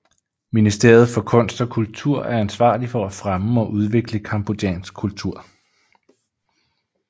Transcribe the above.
Ministeriet for kunst og kultur er ansvarlig for at fremme og udvikle cambodjansk kultur